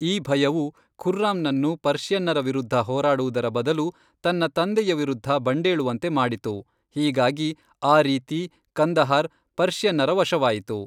ಈ ಭಯವು ಖುರ್ರಾಮನನ್ನು ಪರ್ಷಿಯನ್ನರ ವಿರುದ್ಧ ಹೋರಾಡುವುದರ ಬದಲು, ತನ್ನ ತಂದೆಯ ವಿರುದ್ಧ ಬಂಡೇಳುವಂತೆ ಮಾಡಿತು ಹೀಗಾಗಿ ಆ ರೀತಿ ಕಂದಹಾರ್ ಪರ್ಷಿಯನ್ನರ ವಶವಾಯಿತು.